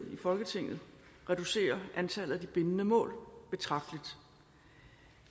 folketinget reducerer antallet af de bindende mål betragteligt